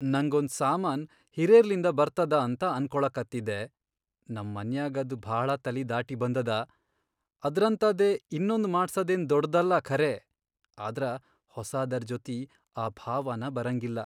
ನಂಗ್ ಒಂದ್ ಸಾಮಾನ್ ಹಿರೇರ್ಲಿಂದ ಬರ್ತದ ಅಂತ ಅನ್ಕೊಳಿಕತ್ತಿದೆ, ನಂ ಮನ್ಯಾಗ್ ಅದ್ ಭಾಳ ತಲಿ ದಾಟಿ ಬಂದದ. ಅದ್ರಂತಾದೇ ಇನ್ನೊಂದ್ ಮಾಡ್ಸದೇನ್ ದೊಡ್ದಲ್ಲಾ ಖರೇ ಆದ್ರ ಹೊಸಾದರ್ ಜೊತಿ ಆ ಭಾವನಾ ಬರಂಗಿಲ್ಲಾ.